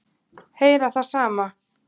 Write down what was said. Heyra það sama.